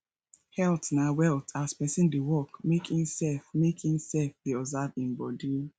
health na wealth as person dey work make im sef make im sef dey observe im body